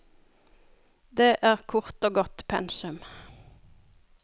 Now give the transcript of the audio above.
Det er kort og godt pensum.